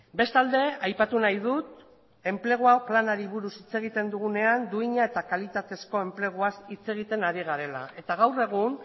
bestalde aipatu nahi dut enplegu planari buruz hitz egiten dugunean duina eta kalitatezko enpleguaz hitz egiten ari garela eta gaur egun